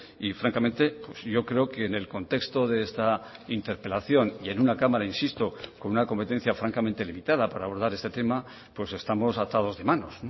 y francamente yo creo que en el contexto de esta interpelación y en una cámara insisto con una competencia francamente limitada para abordar este tema pues estamos atados de manos